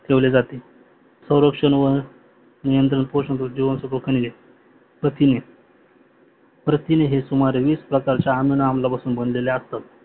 ठेवले जाते स्वरक्षण व नियंत्रण पोषण जिवानसत्व खनिजे प्रथिन प्रथिने हे सुमारे प्रकार च्या अमिनो अम्लापासून बनलेली असते